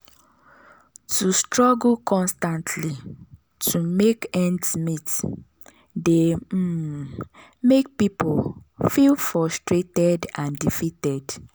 to struggle constantly to make ends meet dey um mek pipul feel frustrated and defeated.